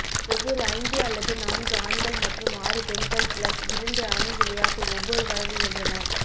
ஒவ்வொரு ஐந்து அல்லது நான்கு ஆண்கள் மற்றும் ஆறு பெண்கள் பிளஸ் இரண்டு அணி விளையாட்டு ஒவ்வொரு வழங்குகின்றன